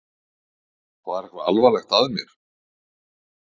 Var eitthvað alvarlegt að mér?